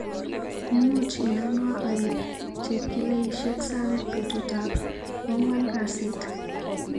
Imuch inanwa aip chepkilaishek sang betutap kwangwan kasit.